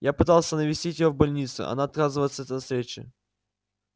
я пытался навестить её в больнице она отказывается от встречи